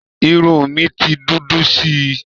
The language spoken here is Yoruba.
Irun mi ti dúdú sí i